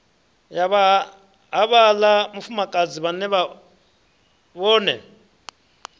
ya havhaḽa mufumakadzi vhaṅe vhone